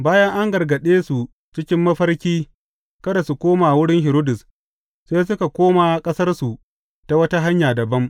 Bayan an gargaɗe su cikin mafarki kada su koma wurin Hiridus, sai suka koma ƙasarsu ta wata hanya dabam.